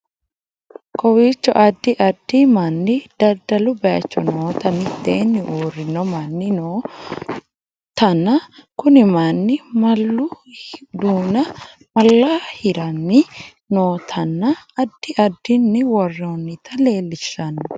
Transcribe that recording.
Koowechno addi addi manni dadaluu bayichoo nootana mittenni urinoo manni noo tanna kunii maninno mallu dunna malla hiirani nootana addi addini woronnita lellishano